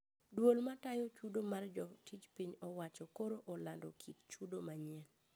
Duol matayo chudo mar jotij piny owacho koro olando kit chudo manyien